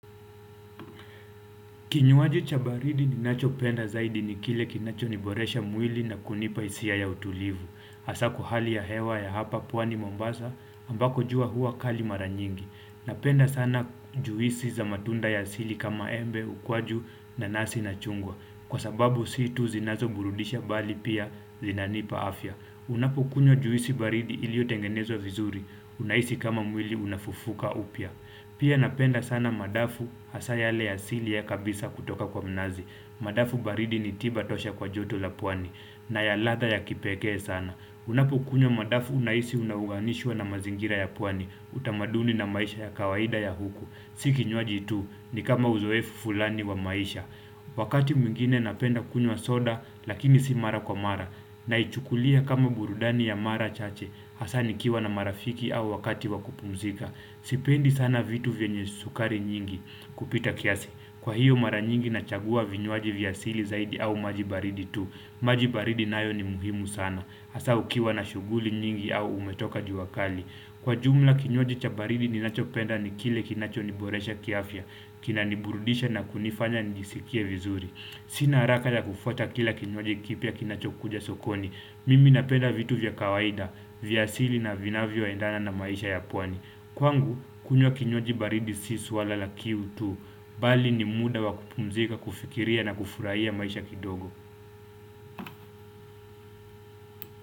Kinywaji cha baridi ninacho penda zaidi ni kile kinacho niboresha mwili na kunipa hisia ya utulivu. Hasa kwa hali ya hewa ya hapa pwani mombasa ambako jua hua kali mara nyingi. Napenda sana juisi za matunda ya asili kama embe, ukwaju nanasi na chungwa. Kwa sababu si tu zinazo burudisha bali pia zinanipa afya. Unapo kunywa juisi baridi iliyotengenezwa vizuri. Unahisi kama mwili unafufuka upya. Pia napenda sana madafu hasa yale ya asili ya kabisa kutoka kwa mnazi Madafu baridi ni tiba tosha kwa joto la pwani na ya latha ya kipekee sana Unapokunywa madafu unahisi unauganishwa na mazingira ya pwani utamaduni na maisha ya kawaida ya huku Si kinywaji tu ni kama uzoefu fulani wa maisha Wakati mwingine napenda kunywa soda lakini si mara kwa mara Naichukulia kama burudani ya mara chache Hasa nikiwa na marafiki au wakati wa kupumzika Sipendi sana vitu vyenye sukari nyingi kupita kiasi. Kwa hiyo mara nyingi nachagua vinywaji vya asili zaidi au maji baridi tu. Maji baridi nayo ni muhimu sana. Hasa ukiwa na shughuli nyingi au umetoka jua kali. Kwa jumla kinywaji cha baridi ninachopenda ni kile kinacho niboresha kiafya. Kinaniburudisha na kunifanya njisikie vizuri. Sina haraka ya kufuata kila kinywaji kipya kinachokuja sokoni. Mimi napenda vitu vya kawaida, vya asili na vinavyo endana na maisha ya pwani. Kwangu, kunywa kinywaji baridi si swala la kiu tu. Bali ni muda wa kupumzika, kufikiria na kufurahia maisha kidogo.